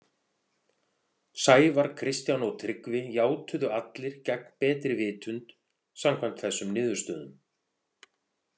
Sævar, Kristján og Tryggvi játuðu allir gegn betri vitund, samkvæmt þessum niðurstöðum.